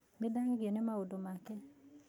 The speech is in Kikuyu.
Nĩ ndagegio nĩ maũndũ make